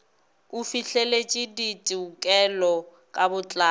o fihleletše ditekolo ka botlalo